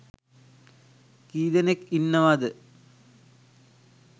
කීදෙනෙක් ඉන්නවද?